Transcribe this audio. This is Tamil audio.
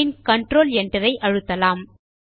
பின் கன்ட்ரோல் Enter ஐ அழுத்தலாம்